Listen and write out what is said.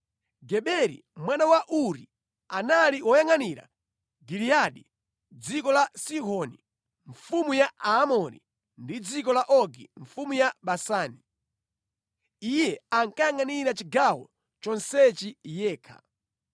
Geberi mwana wa Uri, anali woyangʼanira Giliyadi (dziko la Sihoni mfumu ya Aamori ndi dziko la Ogi mfumu ya Basani). Iye ankayangʼanira chigawo chonsechi yekha.